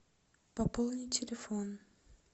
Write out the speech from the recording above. пополни телефон